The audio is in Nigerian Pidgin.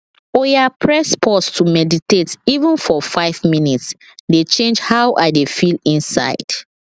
oya press pause to meditate even for five minutes dey change how i dey feel inside